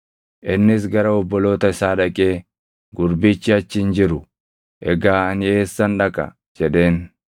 Innis gara obboloota isaa dhaqee, “Gurbichi achi hin jiru! Egaa ani eessan dhaqa?” jedheen.